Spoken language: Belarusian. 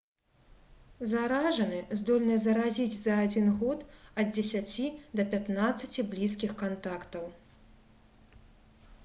заражаны здольны заразіць за адзін год ад 10 да 15 блізкіх кантактаў